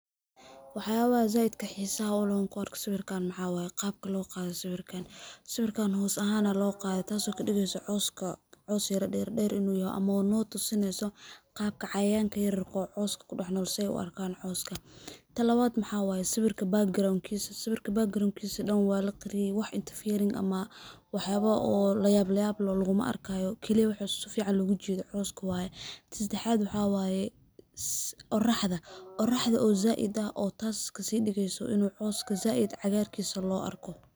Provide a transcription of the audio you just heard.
Waxyabaha zaidka xisaha uleh sawirkan waxaa waye qabka loqade sawirkan, sawirkan hos ahan aa loqade tas oo kadigeysah cawska caws yar dherdher in uu yahay ama wa natusineyso qabka cayayanka yaryarka ah oo cawska kudax nol sey u arkan cawska. Tan lawad maxaa waye sawirka background]kisa, sawirka background kisa dhan walaqariye wax inta firin ama wax yaba oo layablayab leh luguma arkayo, keliya waxaa sifican logujedo cawska waye. Tan sedaxad waxaa waye oraxda, oraxda oo zaid ah oo tas kasidigeyso ini cawska zaid cagarkisa lo arko.